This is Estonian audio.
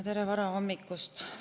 Tere varahommikust!